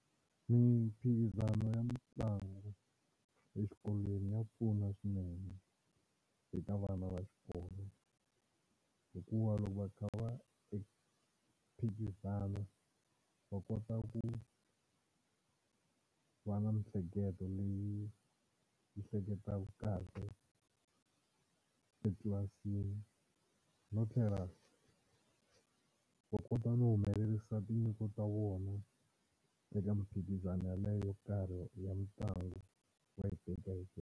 Mimphikizano ya mitlangu exikolweni ya pfuna swinene eka vana va xikolo hikuva loko va kha va phikizana va kota ku va na mihleketo leyi yi hleketaku kahle etlilasini no tlhela va kota no humelerisa tinyiko ta vona eka miphikizano yaleyo yo karhi ya mitlangu va yi .